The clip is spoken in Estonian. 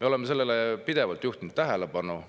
Me oleme sellele pidevalt tähelepanu juhtinud